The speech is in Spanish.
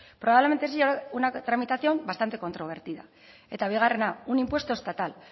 probablemente sería una tramitación bastante controvertida eta bigarrena un impuesto estatal